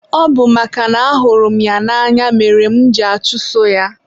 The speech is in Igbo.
ọ bụ makana ahụrụ m ya n'anya mere mụ ji achuso ya.